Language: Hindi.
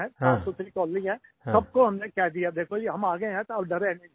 साफ़सुथरी कॉलोनी है सबको हमने कह दिया कि देखो जी हम आ गए हैं तो डरे नहीं